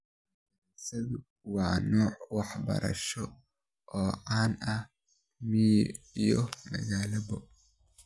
Madarasadu waa nooc waxbarasho oo caan ah miyi iyo magaalaba.